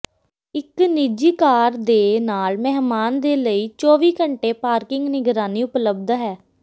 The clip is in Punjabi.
ਇੱਕ ਨਿੱਜੀ ਕਾਰ ਦੇ ਨਾਲ ਮਹਿਮਾਨ ਦੇ ਲਈ ਚੌਵੀ ਘੰਟੇ ਪਾਰਕਿੰਗ ਨਿਗਰਾਨੀ ਉਪਲੱਬਧ ਹੈ